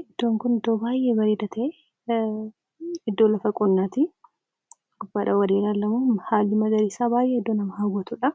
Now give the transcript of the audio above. Iddoon kun iddoo baay'ee bareedaa ta'e iddoo lafa qonnaati. Haalli lafa isaatii baay'ee namatti tola.